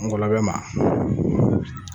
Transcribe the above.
Ngɔlɔbɛ ma